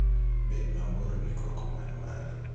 Bed mabor gi koko man malo.